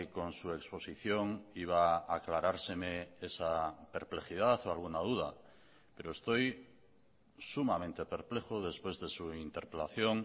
con su exposición iba a aclarárseme esa perplejidad o alguna duda pero estoy sumamente perplejo después de su interpelación